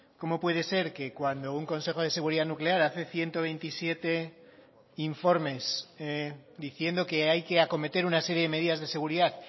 cómo puede ser que cuando un consejo de seguridad nuclear hace ciento veintisiete informes diciendo que hay que acometer una serie de medidas de seguridad